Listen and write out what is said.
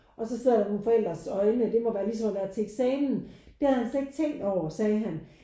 Og så sidder der nogen forældres øjne og det må være ligesom at være til eksamen. Det havde han slet ikke tænkt over sagde han